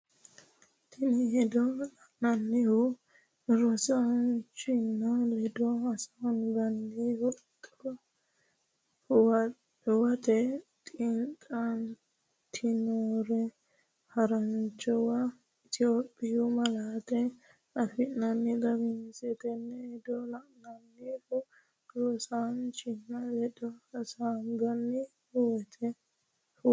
Tenne hedo lainohunni rosiisaanchi’ne ledo hasaabbine huwat- tinoonnire haranchunni Itophiyu malaatu afiinni xawisse Tenne hedo lainohunni rosiisaanchi’ne ledo hasaabbine huwat-.